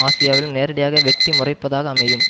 ஆசியாவிலும் நேரடியாக வெட்டி முறிப்பதாக அமையும்